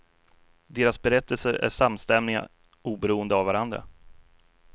Deras berättelser är samstämmiga oberoende av varandra.